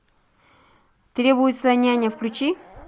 требуется няня включи